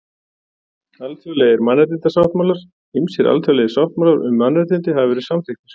Alþjóðlegir mannréttindasáttmálar Ýmsir alþjóðlegir sáttmálar um mannréttindi hafa verið samþykktir.